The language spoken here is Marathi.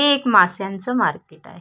हे एक माश्यांच मार्केट आहे.